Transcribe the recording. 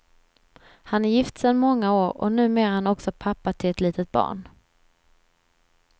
Han är gift sedan många år, och numera är han också pappa till ett litet barn.